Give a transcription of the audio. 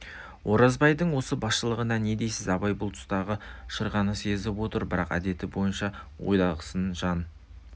оразбайдың осы басшылығына не дейсіз абай бұл тұстағы шырғаны сезіп отыр бірақ әдеті бойынша ойдағысын жан